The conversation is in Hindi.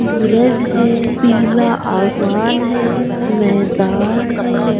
सूरज है पीला आसमान है मैदान है।